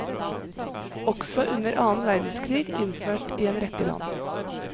Også under annen verdenskrig innført i en rekke land.